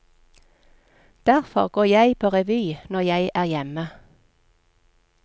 Derfor går jeg på revy når jeg er hjemme.